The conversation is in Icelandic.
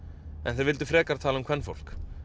en þeir vildu frekar tala um kvenfólk